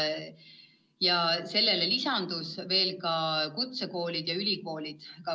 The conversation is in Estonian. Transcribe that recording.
Ja sellele lisandusid ka kutsekoolid ja ülikoolid.